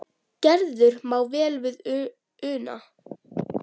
Gerður má vel við una.